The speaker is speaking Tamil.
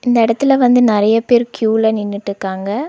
இந்த எடத்துல வந்து நெறையா பேர் க்யூல நின்னுட்டுக்காங்க.